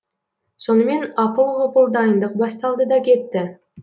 сонымен апыл ғұпыл дайындық басталды да кетті